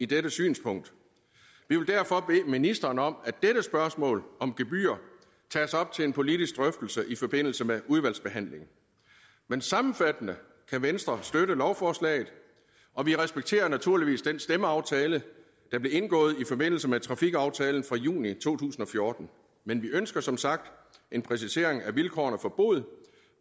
dette synspunkt vi vil derfor bede ministeren om at dette spørgsmål om gebyrer tages op til en politisk drøftelse i forbindelse med udvalgsbehandlingen men sammenfattende kan venstre støtte lovforslaget og vi respekterer naturligvis den stemmeaftale som blev indgået i forbindelse med trafikaftalen fra juni to tusind og fjorten men vi ønsker som sagt en præcisering af vilkårene for bod